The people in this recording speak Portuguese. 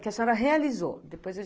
Que a senhora realizou.